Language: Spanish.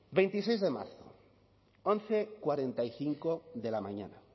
veintiseis de marzo once cuarenta y cinco de la mañana